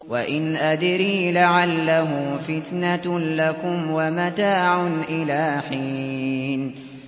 وَإِنْ أَدْرِي لَعَلَّهُ فِتْنَةٌ لَّكُمْ وَمَتَاعٌ إِلَىٰ حِينٍ